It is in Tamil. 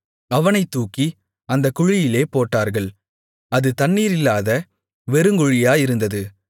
அவனைத் தூக்கி அந்தக் குழியிலே போட்டார்கள் அது தண்ணீரில்லாத வெறுங்குழியாயிருந்தது